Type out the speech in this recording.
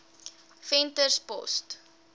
venterspost